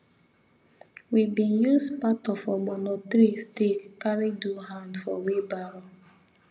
we been use part of ogbono tree stick carry do hand for wheel barrow